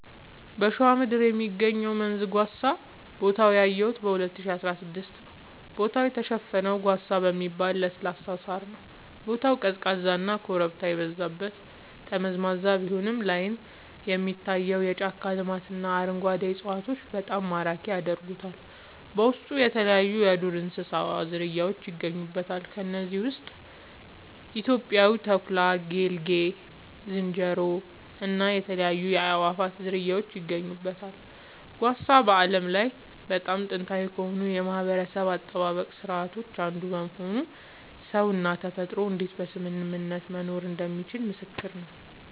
በሸዋ ምድር የሚገኘው መንዝ ጓሳ ቦታውን ያየሁት 2016 ነዉ ቦታው የተሸፈነው ጓሳ በሚባል ለስላሳ ሳር ነዉ ቦታው ቀዝቃዛና ኮረብታ የበዛበት መንገዱ ጠመዝማዛ ቢሆንም ላይን የሚታየው የጫካ ልማትና አረንጓዴ እፅዋቶች በጣም ማራኪ ያደርጉታል በውስጡ የተለያይዩ የዱር እንስሳት ዝርያውች ይገኙበታል ከነዚህም ውስጥ ኢትዮጵያዊው ተኩላ ጌልጌ ዝንጀሮ እና የተለያዩ የአእዋፋት ዝርያወች ይገኙበታል። ጓሳ በዓለም ላይ በጣም ጥንታዊ ከሆኑ የማህበረሰብ አጠባበቅ ስርዓቶች አንዱ በመሆኑ ሰውና ተፈጥሮ እንዴት በስምምነት መኖር እንደሚችሉ ምስክር ነዉ